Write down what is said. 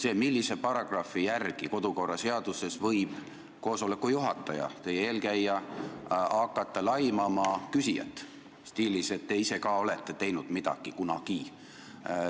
See on: millise paragrahvi järgi kodukorraseaduses võib koosoleku juhataja – pean silmas eelmist istungi juhatajat – hakata laimama küsijat stiilis, et te ise ka olete teinud midagi kunagi?